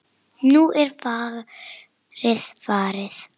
Nú er fargið farið.